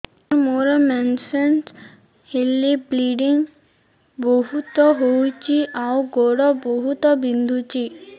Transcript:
ସାର ମୋର ମେନ୍ସେସ ହେଲେ ବ୍ଲିଡ଼ିଙ୍ଗ ବହୁତ ହଉଚି ଆଉ ଗୋଡ ବହୁତ ବିନ୍ଧୁଚି